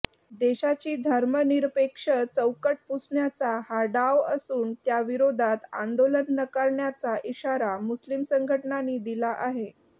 देशाची धर्मनिरपेक्ष चौकट पुसण्याचा हा डाव असून त्याविरोधात आंदोलन करण्याचा इशारा मुस्लिम संघटनांनी दिला आहे